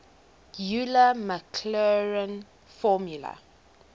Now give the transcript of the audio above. euler maclaurin formula